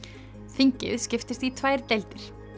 þingið skiptist í tvær deildir